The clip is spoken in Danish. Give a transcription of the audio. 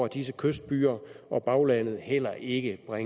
disse kystbyer og baglandet heller ikke har